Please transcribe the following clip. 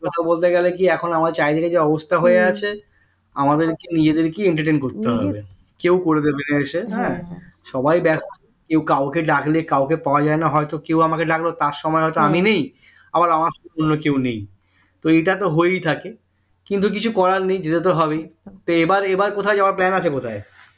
অন্য কেউ নেই তো এটা তো হয়েই থাকে কিন্তু কিছু করার নেই যেতে তো হবেই তো এবার এবার কোথায় যাওয়ার plan আছে কোথায়